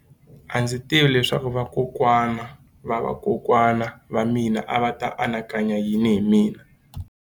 A ndzi tivi leswaku vakokwana-va-vakokwana va mina a va ta anakanya yini hi mina.